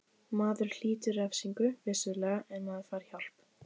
Maður hlýtur refsingu, vissulega, en maður fær hjálp.